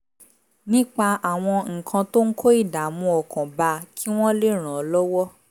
nípa àwọn nǹkan tó ń kó ìdààmú ọkàn bá a kí wọ́n lè ràn án lọ́wọ́